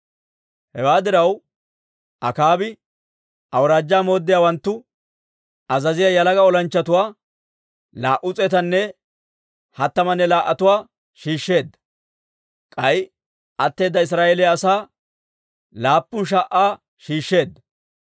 Hewaa diraw, Akaabi awuraajjaa mooddiyaawanttu azaziyaa yalaga olanchchatuwaa, laa"u s'eetanne hattamanne laa"atuwaa shiishsheedda. K'ay atteeda Israa'eeliyaa asaa, laappun sha"aa shiishsheedda.